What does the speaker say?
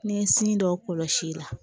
N'i ye sin dɔ kɔlɔsi i la